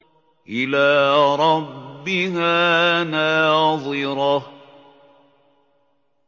إِلَىٰ رَبِّهَا نَاظِرَةٌ